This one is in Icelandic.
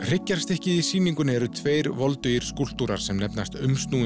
hryggjarstykkið í sýningunni eru tveir voldugir skúlptúrar sem nefnast